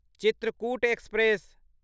Chitrakoot express